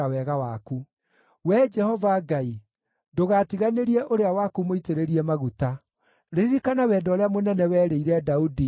Wee Jehova Ngai, ndũgatiganĩrie ũrĩa waku mũitĩrĩrie maguta. Ririkana wendo ũrĩa mũnene werĩire Daudi ndungata yaku.”